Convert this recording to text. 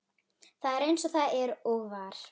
Það er eins og það er og var.